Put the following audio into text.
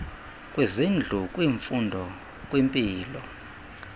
kwizindlu kwimfundo kwimpilo